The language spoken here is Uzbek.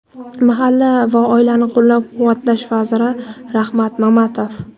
mahalla va oilani qo‘llab-quvvatlash vaziri Rahmat Mamatov,.